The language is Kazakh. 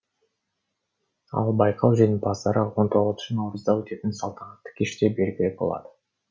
ал байқау жеңімпаздары он тоғызыншы наурызда өтетін салтанатты кеште белгілі болады